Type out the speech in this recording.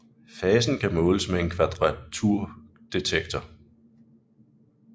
Fasen kan måles med en kvadraturdetektor